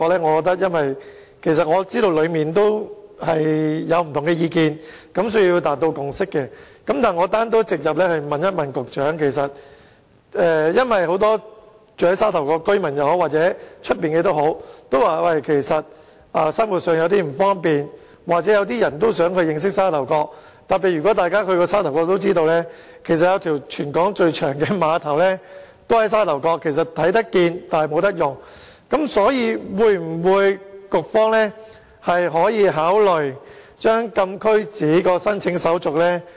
我想直接問問局長，由於有很多無論是居住在沙頭角或區外的市民均表示生活上有點不方便，又或一些人也想認識沙頭角，特別是如果大家曾到訪沙頭角也知道，該處有一個全港最長的碼頭，但卻是看得見而不能用。因此，局方可否考慮簡化禁區紙的申請手續？